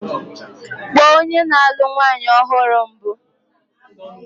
Kpọọ onye na-alụ nwanyị ọhụrụ mbụ!